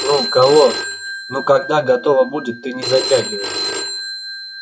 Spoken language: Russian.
ну кого когда готово будет ты не затягивай